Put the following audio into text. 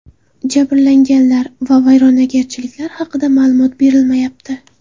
Jabrlanganlar va vayronagarchiliklar haqida ma’lumot berilmayapti.